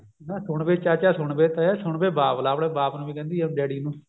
ਨਾ ਸੁਣ ਚਾਚਾ ਸੁਣ ਵੇ ਤਾਇਆ ਸੁਣ ਵੇ ਬਾਬਲਾ ਆਪਣੇ ਬ੍ਬਾਪ ਨੂੰ ਵੀ ਕਹਿੰਦੀ ਆ daddy ਨੂੰ